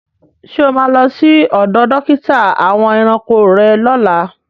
Ṣé o má lọ sí ọdọ̀ dókítà àwọn ẹranko rẹ́ lọ́lá?